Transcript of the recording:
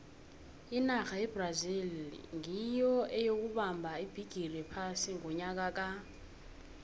inarha yebrazil nyiyo eyokubamba ibhigiri yephasi ngonyaka ka